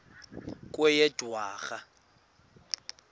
kweyedwarha